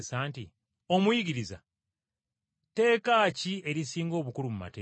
“Omuyigiriza, tteeka ki erisinga obukulu mu mateeka.”